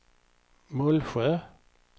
Mullsjö